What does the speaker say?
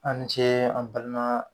A' ni ce an balima